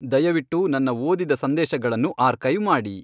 ದಯವಿಟ್ಟು ನನ್ನ ಓದಿದ ಸಂದೇಶಗಳನ್ನು ಆರ್ಕೈವ್ ಮಾಡಿ